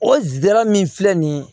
O zira min filɛ nin ye